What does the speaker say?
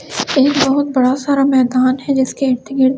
एक बहुत सारा मैंदान है जिसके इर्द-गिर्द --